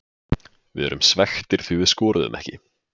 Við erum svekktir því við skoruðum ekki.